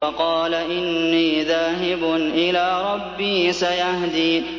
وَقَالَ إِنِّي ذَاهِبٌ إِلَىٰ رَبِّي سَيَهْدِينِ